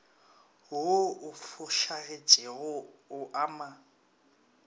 wo o fošagetšego o ama